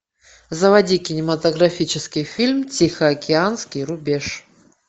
заводи кинематографический фильм тихоокеанский рубеж